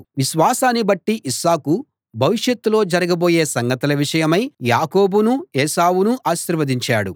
విశ్వాసాన్ని బట్టి ఇస్సాకు భవిష్యత్తులో జరగబోయే సంగతుల విషయమై యాకోబునూ ఏశావునూ ఆశీర్వదించాడు